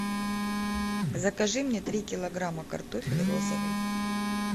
закажи мне три килограмма картофель розовый